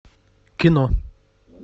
кино